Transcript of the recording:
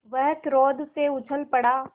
वह क्रोध से उछल पड़ा